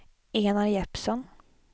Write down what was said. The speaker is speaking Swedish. Enar Jeppsson